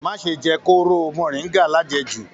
Má ṣe jẹ kooro moringa lajẹ́jù.